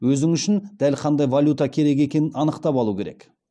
өзін үшін дәл қандай валюта керек екенін анықтап алу керек